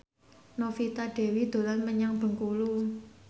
Novita Dewi dolan menyang Bengkulu